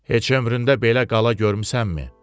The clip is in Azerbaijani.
Heç ömründə belə qala görmüsənmi?